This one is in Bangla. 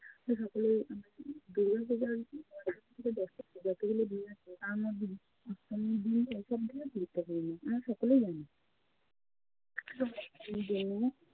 তো সকলে আমরা দুগাপূজোর পঞ্চমী থেকে দশমী যতগুলো দিন আছে তার মধ্যে অষ্টমীর দিনটাই সব থেকে গুরুত্বপূর্ণ আমরা সকলেই জানি। এই দিনে